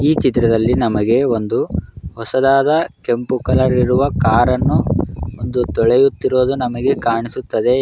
ಈ ಚಿತ್ರದಲ್ಲಿ ನಮಗೆ ಒಂದು ಹೊಸದಾದ ಕೆಂಪು ಕಲರ್ ಇರುವ ಕಾರ್ ಅನ್ನು ಒಂದು ತೊಳೆಯುತ್ತಿರುವುದು ನಮಗೆ ಕಾಣಿಸುತ್ತಿದೆ --